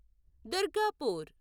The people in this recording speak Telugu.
దుర్గాపూర్